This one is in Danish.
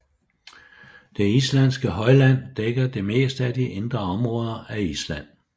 Det islandske højland dækker det meste af de indre områder af Island